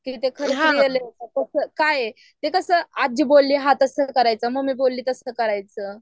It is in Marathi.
काय आहे ते कसं आज्जी बोलली हां त्यासाठी करायचं मम्मी बोलली तसं करायचं.